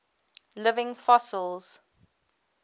living fossils